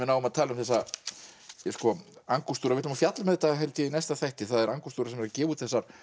náum að tala um þessa við ætlum að fjalla um þetta held ég í næsta þætti það er Angústúra sem er að gefa út þessar